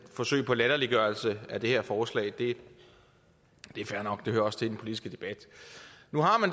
forsøg på latterliggørelse af det her forslag at det er fair nok det hører også til i den politiske debat nu har man